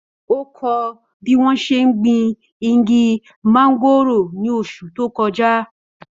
Ó kọ́ bí wọ́n ṣe ń gbin igi móngòrò ní oṣù tó kọjá.